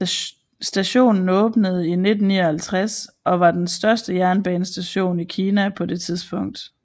Stationen åbnede i 1959 og var den største jernbanestation i Kina på det tidspunkt